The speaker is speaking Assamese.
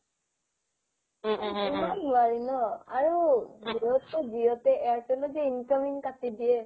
ইমান নোৱাৰি ন আৰু jio টো jio তে airtelত যে incoming কাটি দিয়ে